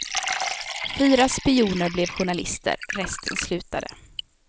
Fyra spioner blev journalister, resten slutade.